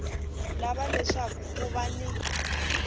lava leswaku ku va ni